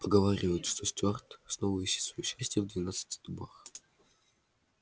поговаривают что стюарт снова ищет своё счастья в двенадцати дубах